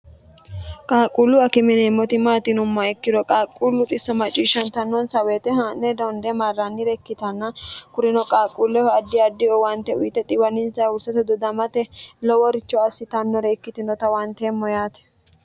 qaaqquullu akimineemmoti maatinumma ikkiro qaaqquullu xisso macciishshantannonsa woyite haa'ne donde marrannire ikkitanna kurino qaaqquulleho addi addi owante uyite xiwnnsa hurste dudamte loworicho assitannore ikkitinota huwanteemmo yaate